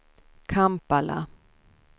Kampala